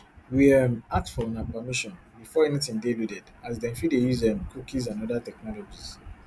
we um ask for una permission before anytin dey loaded as dem fit dey use um cookies and oda technologies